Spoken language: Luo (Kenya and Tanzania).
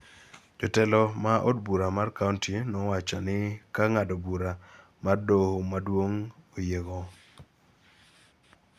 jo telo ma od bura mar kaonti nowacho ni ka ng�ado bura mar Doho Maduong� oyiego,